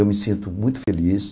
Eu me sinto muito feliz.